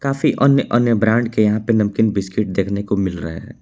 काफी अन्य अन्य ब्रांड के यहां पर नमकीन बिस्किट देखने को मिल रहे हैं।